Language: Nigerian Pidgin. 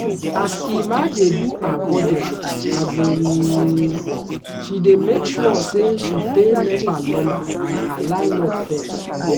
as emma dey do her budget um she dey make sure say she pay nepa lawma and her landlord fess.